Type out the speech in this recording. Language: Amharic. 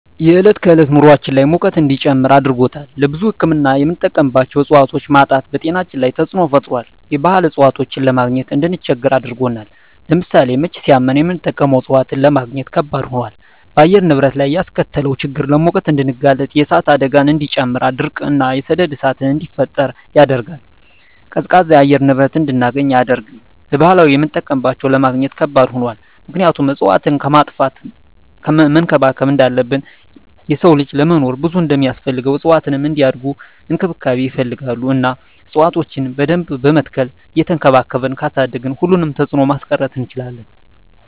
የዕለት ከዕለት ኑራችን ላይ ሙቀት እንዲጨምር አድርጎታል። ለብዙ ህክምና የምንጠቀማቸው እፅዋቶች ማጣት በጤናችን ላይ ተፅዕኖ ፈጥሯል የባህል እፅዋቶችን ለማግኘት እንድንቸገር አድርጎናል። ለምሳሌ ምች ሳመን የምንጠቀመው እፅዋት ለማግኘት ከበድ ሆኗል። በአየር ንብረት ላይ ያስከተለው ችግር ለሙቀት እንድንጋለጥ የእሳት አደጋን እንዲጨምር ድርቅ እና የሰደድ እሳትን እንዲፈጠር ያደርጋል። ቀዝቃዛ የአየር ንብረት እንድናገኝ አያደርግም። ለባህላዊ የምጠቀምባቸው ለማግኘት ከባድ ሆኗል ምክንያቱም እፅዋትን ከማጥፋት መንከባከብ እንዳለብን የሰው ልጅ ለመኖር ብዙ እንደማስፈልገው እፅዋትም እንዲያድጉ እንክብካቤ ይፈልጋሉ እና እፅዋቶችን በደንብ በመትከል እየቸንከባከብን ካሳደግን ሁሉንም ተፅዕኖ ማስቀረት እንችላለን።